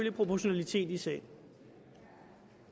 er proportionalitet i sagen